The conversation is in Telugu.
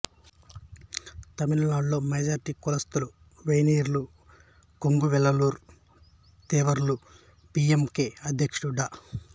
తమిళనాడులో మెజారిటీ కులస్థులు వెన్నియార్లు కొంగువెల్లలార్లు తేవర్లు పి యం కే అధ్యక్షుడు డా